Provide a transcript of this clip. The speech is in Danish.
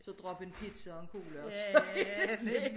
Så drop en pizza og en cola og så er det dét